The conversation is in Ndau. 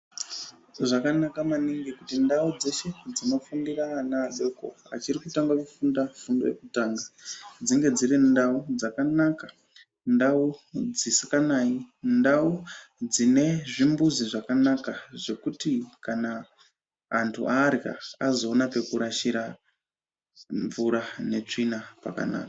Zvakanaka maningi kuti ndau dzeshe dzinofundira ana adoko achiri kutanga kufunda fundo yekutanga dzinge dziri ndau dzakanaka, ndau dzisikanayi, ndau dzine zvimbuzi zvakanaka zvekuti kana antu arya azoone pekurashira mvura netsvina pakanaka.